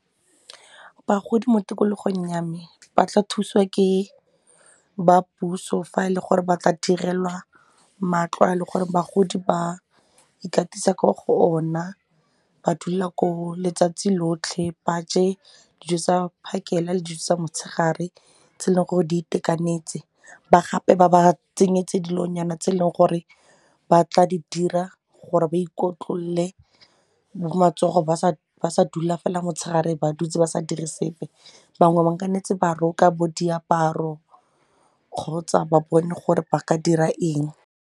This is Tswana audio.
Bagodi mo tikologong ya me ba tla thusiwa ke ba puso fa e le gore ba tla direlwa matlo a leng gore bagodi ba ikatisa ko go ona ba dula koo letsatsi lotlhe, ba je dijo tsa phakela le dijo tsa motshegare tse e leng gore di itekanetse gape ba ba tsenyetse dilonyana tse e leng gore ba tla di dira gore ba ikotlolole matsogo ba sa dula fela motshegare ba dutse ba sa dire sepe bangwe ba nnetse ba roka bo diaparo kgotsa ba bone gore ba ka dira eng.